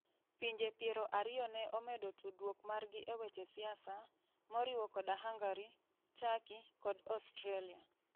Pinje piero ariyo ne omedo tudruok margi e weche siasa, moriwo koda Hungary, Turkey, kod Australia.